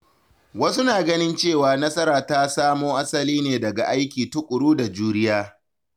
Wasu na ganin cewa nasara ta samo asali ne daga aiki tuƙuru da juriya.